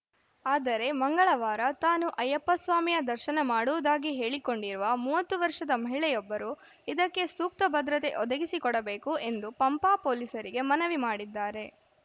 ಆದರೆ ಮಂಗಳವಾರ ತಾನು ಅಯ್ಯಪ್ಪಸ್ವಾಮಿಯ ದರ್ಶನ ಮಾಡುವುದಾಗಿ ಹೇಳಿಕೊಂಡಿರುವ ಮೂವತ್ತು ವರ್ಷದ ಮಹಿಳೆಯೊಬ್ಬರು ಇದಕ್ಕೆ ಸೂಕ್ತ ಭದ್ರತೆ ಒದಗಿಸಿಕೊಡಬೇಕು ಎಂದು ಪಂಪಾ ಪೊಲೀಸರಿಗೆ ಮನವಿ ಮಾಡಿದ್ದಾರೆ